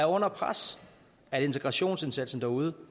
under pres at integrationsindsatsen derude